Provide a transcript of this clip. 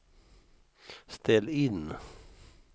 ställ in